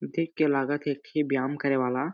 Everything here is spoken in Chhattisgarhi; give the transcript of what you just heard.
देख के लगत हे एक ठी व्यायाम करे वाला--